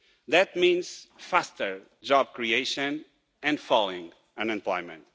That means faster job creation and falling unemployment.